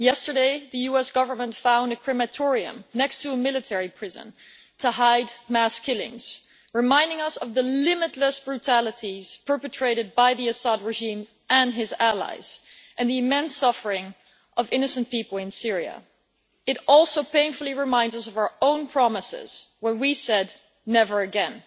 Yesterday, the US Government found a crematorium next to a military prison to hide mass killings, reminding us of the limitless brutalities perpetrated by the Assad regime and its allies and the immense suffering of innocent people in Syria. It also painfully reminds us of our own promises when we said never again.